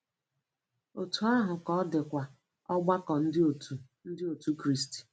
Otú ahụ ka ọdịkwa ọgbakọ Ndị Otù Ndị Otù Kristi.